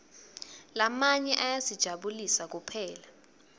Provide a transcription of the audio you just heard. lamanye ayasijabulisa kuphela